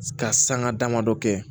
Ka sanga damadɔ kɛ